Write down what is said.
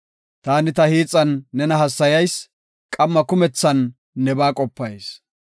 Taani ta hiixan nena hassayayis; qamma kumethan nebaa qopayis;